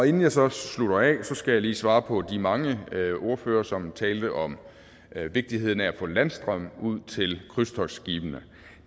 inden jeg så slutter af skal jeg lige svare på spørgsmål fra de mange ordførere som talte om vigtigheden af at få landstrøm ud til krydstogtskibene